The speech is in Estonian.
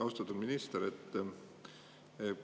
Austatud minister!